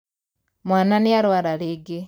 Mwana nĩarwara rĩngĩ.